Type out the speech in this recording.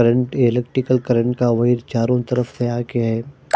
Electrical current का wire चारो तरफ तयार किया है।